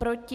Proti?